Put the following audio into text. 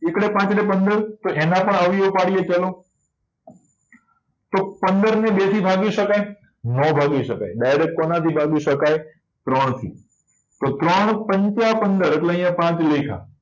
એકડે પંદર તો એના પણ અવયવી ઓ પાડીએ ચાલો તો પંદર ને બે થી ભાગી શકાય નો ભાગી શકાય direct કોના થી ભાગી શકાય ત્રણ થી તો ત્રણ પંચ પંદર તો અહિયાં પાંચ લખ્યા